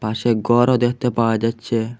পাশে গরও দেখতে পাওয়া যাচ্ছে।